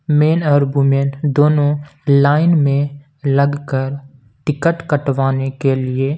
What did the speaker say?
main और women दोनों line में लगकर टिकट कटवाने के लिए--